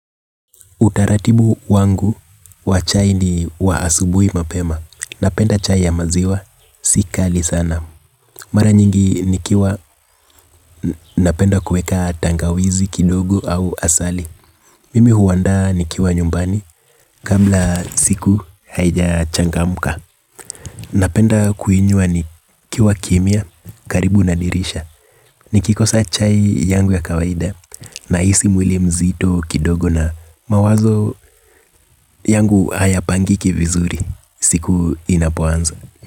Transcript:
Utaratibu wangu wa chai ni wa asubuhi mapema. Napenda chai ya maziwa, si kali sana. Mara nyingi nikiwa napenda kuweka tangawizi kidogo au asali. Mimi huandaa nikiwa nyumbani, kabla siku haijachangamuka. Napenda kuinywa nikiwa kimya, karibu na dirisha. Nikikosa chai yangu ya kawaida nahisi mwili mzito kidogo na mawazo yangu hayapangiki vizuri siku inapoanzo.